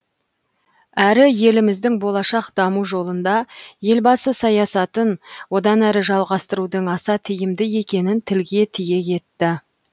әрі еліміздің болашақ даму жолында елбасы саясатын одан әрі жалғастырудың аса тиімді екенін тілге тиек етті